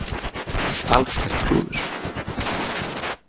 Algert klúður.